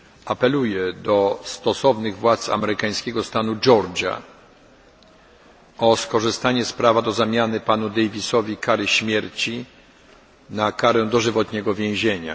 Apeluję do stosownych władz amerykańskiego stanu Georgia o skorzystanie z prawa do zmiany ciążącej na panu Davisie kary śmierci na karę dożywotniego więzienia.